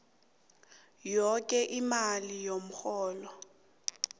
yoke imali yomrholo